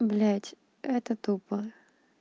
блядь это тупо